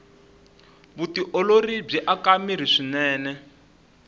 vutiolori byi aka mirhi swinene